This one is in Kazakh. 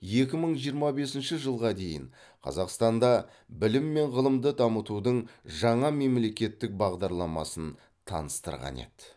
екі мың жиырма бесінші жылға дейін қазақстанда білім мен ғылымды дамытудың жаңа мемлекеттік бағдарламасын таныстырған еді